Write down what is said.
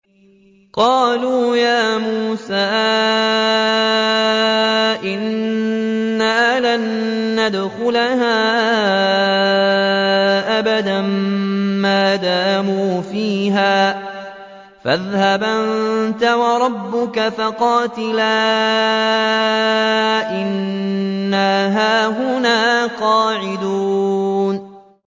قَالُوا يَا مُوسَىٰ إِنَّا لَن نَّدْخُلَهَا أَبَدًا مَّا دَامُوا فِيهَا ۖ فَاذْهَبْ أَنتَ وَرَبُّكَ فَقَاتِلَا إِنَّا هَاهُنَا قَاعِدُونَ